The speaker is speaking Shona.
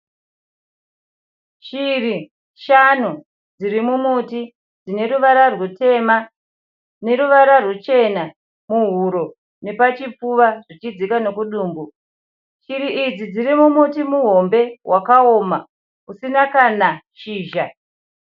Shiri shanu dziri mumuti dzine ruvara rwutema neruvarar ruchena muhuro nepachipfuva zvichidzika nekudumbu. Shiri iri dziri mumuti muhombe wakaoma usina kana shizha.